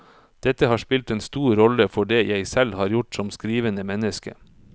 Dette har spilt en stor rolle for det jeg selv har gjort som skrivende menneske.